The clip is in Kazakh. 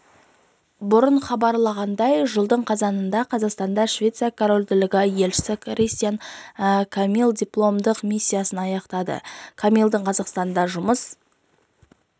бұрын хабарланғандй жылдың қазанында қазақстандағы швеция корольдігінің елшісі кристиан камилл дипломатиялық миссиясын аяқтады камиллдің қазақстанда жұмыс